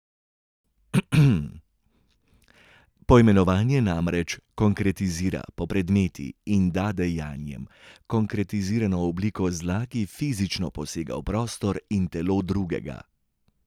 Poimenovanje namreč konkretizira, popredmeti, in da dejanjem konkretizirano obliko zla, ki fizično posega v prostor in telo drugega.